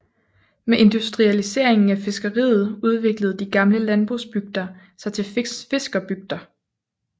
Med industrialiseringen af fiskeriet udviklede de gamle landbrugsbygder sig til fiskerbygder